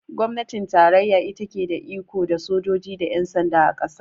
Gwamnatin tarayya ita ke da iko da sojoji da yan sanda, a ƙasa